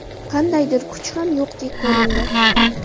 Qandaydir kuch ham yo‘qdek ko‘rindi.